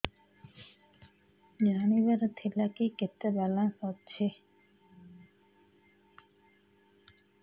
ଜାଣିବାର ଥିଲା କି କେତେ ବାଲାନ୍ସ ଅଛି